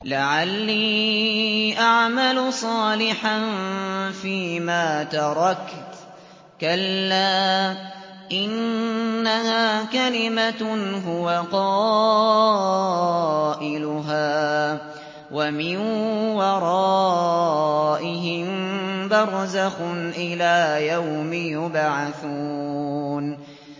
لَعَلِّي أَعْمَلُ صَالِحًا فِيمَا تَرَكْتُ ۚ كَلَّا ۚ إِنَّهَا كَلِمَةٌ هُوَ قَائِلُهَا ۖ وَمِن وَرَائِهِم بَرْزَخٌ إِلَىٰ يَوْمِ يُبْعَثُونَ